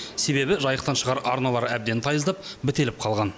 себебі жайықтан шығар арналар әбден тайыздап бітеліп қалған